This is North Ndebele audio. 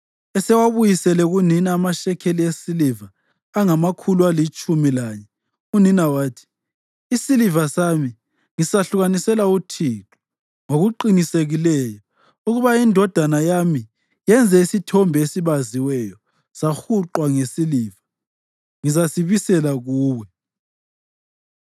Esewabuyisele kunina amashekeli esiliva angamakhulu alitshumi lanye, unina wathi, “Isiliva sami ngisahlukanisela uThixo ngokuqinisekileyo ukuba indodana yami yenze isithombe esibaziweyo, sahuqwa ngesiliva. Ngizasibisela kuwe.”